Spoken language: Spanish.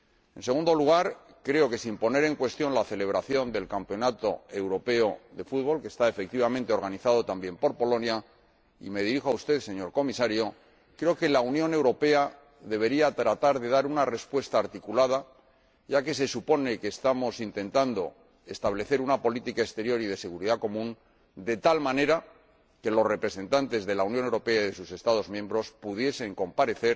En segundo lugar, creo que, sin cuestionar la celebración del campeonato europeo de fútbol, que está efectivamente organizado también por Polonia y me dirijo a usted, señor Comisario la Unión Europea debería tratar de dar una respuesta articulada, ya que se supone que estamos intentando establecer una política exterior y de seguridad común, de tal manera que los representantes de la Unión Europea y de sus Estados miembros puedan actuar